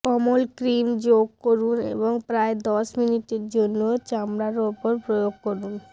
কোমল cream যোগ করুন এবং প্রায় দশ মিনিট জন্য চামড়া উপর প্রয়োগ করুন